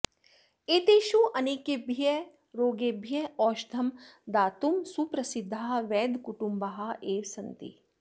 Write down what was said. एतेषु अनेकेभ्यः रोगेभ्यः औषधं दातुं सुप्रसिद्धाः वैद्यकुटुम्बाः एव सन्ति